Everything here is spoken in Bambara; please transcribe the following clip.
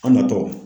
An ma tɔgɔ